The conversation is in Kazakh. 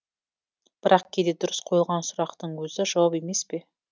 бірақ кейде дұрыс қойылған сұрақтың өзі жауап емес пе